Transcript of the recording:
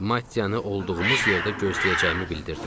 Matteyanı olduğumuz yerdə gözləyəcəyimi bildirdim.